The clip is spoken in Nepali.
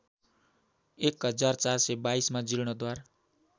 १४२२ मा जीर्णोद्धार